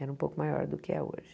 Era um pouco maior do que é hoje.